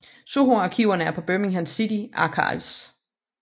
Soho arkiverne er på Birmingham City Archives